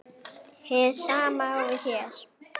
Hið sama á við hér.